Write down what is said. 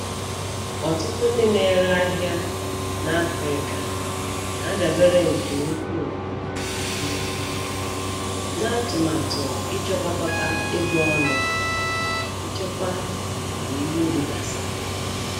Ọtụtụ ndị na-ere ahịa na Afrịka na-adabere nke ukwuu um na atụmatụ ichekwakọta ego ọnụ maka nchekwa mgbe owuwe ihe ubi gasịrị.